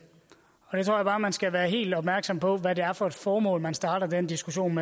jeg tror bare at man skal være helt opmærksom på hvad det er for et formål man starter den diskussion